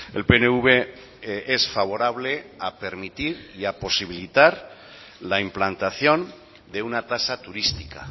el pnv es favorable a permitir y a posibilitar la implantación de una tasa turística